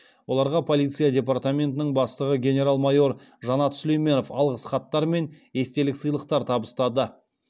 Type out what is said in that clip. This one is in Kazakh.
оларға полиция департаментінің бастығы генерал майор жанат сүлейменов алғыс хаттар мен естелік сыйлықтар табыстады